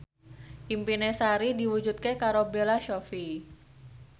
impine Sari diwujudke karo Bella Shofie